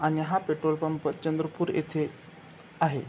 आणि हा petrol pump Chandrapur इथे आहे.